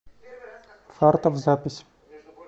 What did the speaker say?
фартов запись